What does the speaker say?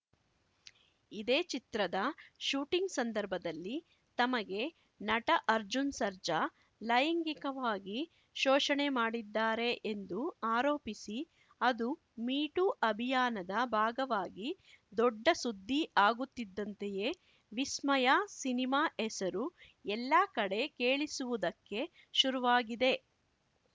ಇದೇ ಚಿತ್ರದ ಶೂಟಿಂಗ್‌ ಸಂದರ್ಭದಲ್ಲಿ ತಮಗೆ ನಟ ಅರ್ಜುನ್‌ ಸರ್ಜಾ ಲೈಂಗಿಕವಾಗಿ ಶೋಷಣೆ ಮಾಡಿದ್ದಾರೆ ಎಂದು ಆರೋಪಿಸಿ ಅದು ಮೀಟೂ ಅಭಿಯಾನದ ಭಾಗವಾಗಿ ದೊಡ್ಡ ಸುದ್ದಿ ಆಗುತ್ತಿದ್ದಂತೆಯೇ ವಿಸ್ಮಯ ಸಿನಿಮಾ ಹೆಸರು ಎಲ್ಲ ಕಡೆ ಕೇಳಿಸುವುದಕ್ಕೆ ಶುರುವಾಗಿದೆ